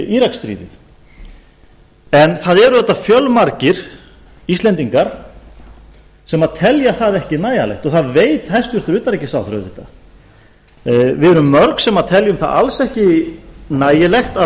íraksstríðið en það eru auðvitað fjölmargir íslendingar sem telja það ekki nægjanlegt og það veit hæstvirts utanríkisráðherra auðvitað við erum mörg sem teljum að alls ekki nægilegt að